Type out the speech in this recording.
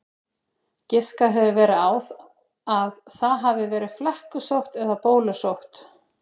Giskað hefur verið á að það hafi verið flekkusótt eða bólusótt.